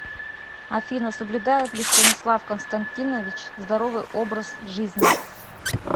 афина соблюдает ли станислав константинович здоровый образ жизни